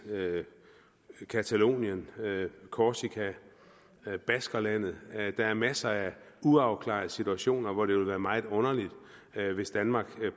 catalonien korsika baskerlandet der er masser af uafklarede situationer hvor det ville være meget underligt hvis danmark